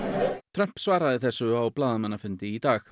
Trump svaraði þessu á blaðamannafundi í dag